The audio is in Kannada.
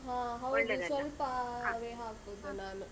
ಹಾ ಹೌದು ವೇ ಹಾಕುದು ನಾನು.